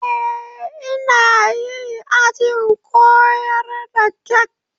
Eh, ina yi ajin koyar da kek